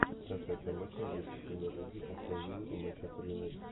трансляция матча английской премьер лиги астон вилла и манчестер юнайтед